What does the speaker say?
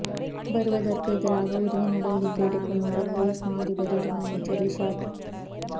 வருவதற்கெதிராக உரிய நடவடிக்கை எடுக்குமாறு பொலிஸ் மா அதிபரிடம் அமைச்சர் ரிஷாட்